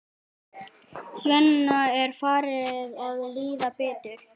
Svenna er farið að líða betur.